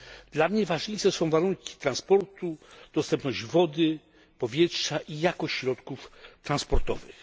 Dla mnie ważniejsze są warunki transportu, dostępność wody, powietrza i jakość środków transportowych.